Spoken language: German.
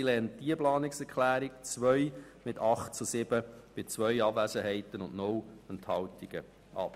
Sie lehnt die Planungserklärung 2 mit 8 Nein- zu 7 Ja-Stimmen bei zwei Abwesenheiten und 0 Enthaltungen ab.